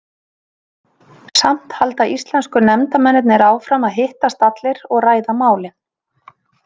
Samt halda íslensku nefndarmennirnir áfram að hittast allir og ræða málin.